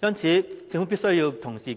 因此，政府必須